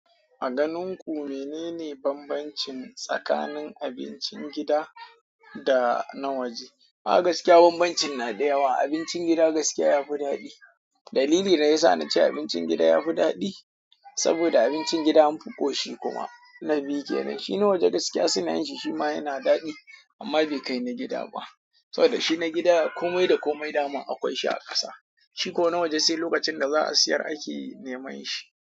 A ganin ku menene bambancin tsakanin abincin gida da na waje? A gaskiya banbancin na da yawa. Abincin gida gaskiya yafi daɗi. Dalilin da yasa nace abincin gida yafi dadi, abincin gida an fi koshi kuma. Na biyu kenan shi na waje shima suna yin shima yana dadi amma bai kai na gida ba. To da shi na gida komai da komai dama akwai shi a ƙasa. Shi ko na waje sai lokacin da za a siyar ake neman shi.